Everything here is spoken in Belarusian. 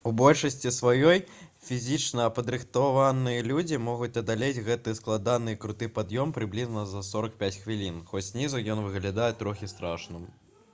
у большасці сваёй фізічна падрыхтаваныя людзі могуць адолець гэты складаны і круты пад'ём прыблізна за 45 хвілін хоць знізу ён выглядае трохі страшным